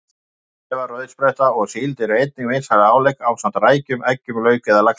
Lifrarkæfa, rauðspretta og síld eru einnig vinsæl álegg ásamt rækjum, eggjum, lauk eða laxi.